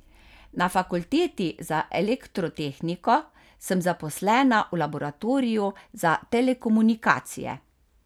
Na fakulteti za elektrotehniko sem zaposlena v laboratoriju za telekomunikacije.